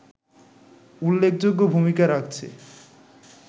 উল্লেখযোগ্য ভূমিকা রাখছে